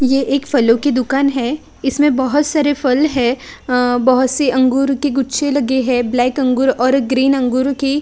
ये एक फलों की दुकान है इसमें बहोत सारे फल है अ बहोत सी अंगूर की गुच्छे लगे है ब्लैक अंगूर और ग्रीन अंगूर की--